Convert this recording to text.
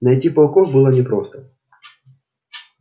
найти пауков было непросто